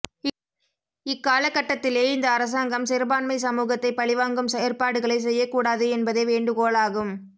இக்கால கட்டத்திலே இந்த அரசாங்கம் சிறுபான்மை சமூகத்தை பழிவாங்கும் செயற்பாடுகளை செய்யக் கூடாது என்பதே வேண்டுகோளாகும்